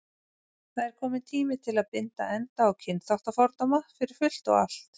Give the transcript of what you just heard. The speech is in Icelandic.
Það er kominn tími til að binda enda á kynþáttafordóma, fyrir fullt og allt.